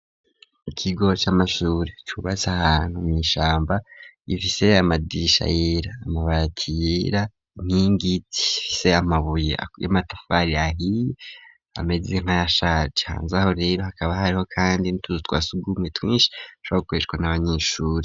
Ikigo c'amashuri cubatse ahantu mwishamba gifise amadirisha yera, amabati yera inkingi zifise amabuye y'amatafari ahiye ameze nkayashaje, hanzaho rero hakaba hariho kandi n'utuzu twasugumwe twinshi dushobora gukoreshwa n'abanyeshuri.